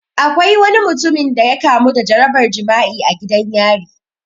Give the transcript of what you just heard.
Akwai wani mutumin da ya kamu da jarabar jima'i a gidan yari